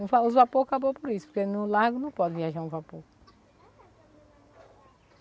O os vapores acabam por isso, porque no lago não pode viajar um vapor.